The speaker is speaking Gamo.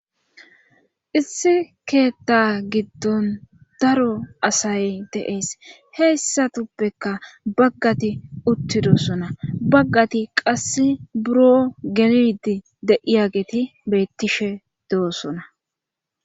Issi keetta giddon daro asay deeys heyssatuppeka baggati uttidosona baggati qasse buro gelidi deiyageeti bettishe de'osona.